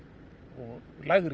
og lægri